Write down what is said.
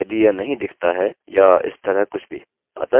अतः चलिए इसे रिफ्रेशrefresh करें